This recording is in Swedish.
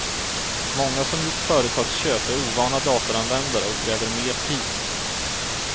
Många som gjort företagsköp är ovana datoranvändare och kräver mer tid.